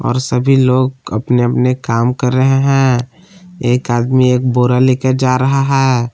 सभी लोग अपने अपने काम कर रहे हैं एक आदमी एक बोरा लेके जा रहा है।